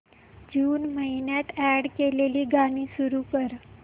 जून महिन्यात अॅड केलेली गाणी सुरू कर